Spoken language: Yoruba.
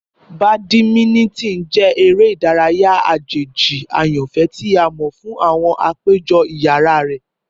Bàdímínítìn jẹ ere idaraya ajeji ayanfẹ ti a mọ fun awọn apejọ iyara rẹ.